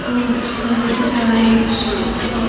बहुत सारी लाइट्स लगी।